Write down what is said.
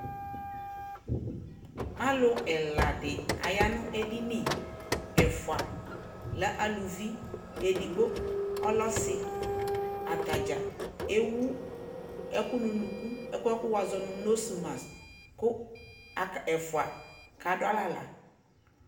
alʋ ɛla di ayanʋ ɛdini, ɛƒʋa lɛ alʋvi, ɛdigbɔ ɔlɛ ɔsii, atagya ɛwʋ ɛkʋ nʋ ʋnʋkʋ, ɛkʋɛ kʋ wazɔnʋ nose mask kʋ ɛƒʋa kadʋalɛ ala